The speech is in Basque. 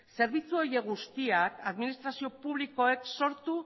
zerbitzu horiek guztiek administrazio publikoek sortu